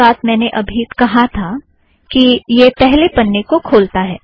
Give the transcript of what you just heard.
यही बात मैंने अबी कहा था कि यह पहले पन्ने को खोलता है